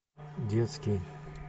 детский